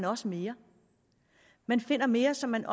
også mere man finder mere så man